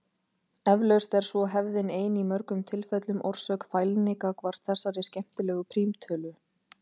Eflaust er svo hefðin ein í mörgum tilfellum orsök fælni gagnvart þessari skemmtilegu prímtölu.